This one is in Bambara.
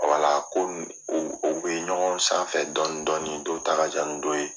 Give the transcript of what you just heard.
ko u bɛ ɲɔgɔn sanfɛ dɔɔni dɔɔnin dɔw ta ka jan ni dɔ ye.